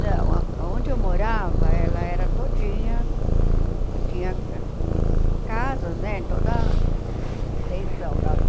Não, a aonde eu morava ela era todinha, tinha hum casas, né, em toda a extensão da rua.